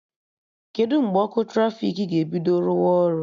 Kedụ mgbe ọkụ trafiki ga-ebido rụwa ọrụ?